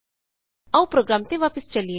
ਆਉ ਪ੍ਰੋਗਰਾਮ ਤੇ ਵਾਪਸ ਚਲੀਏ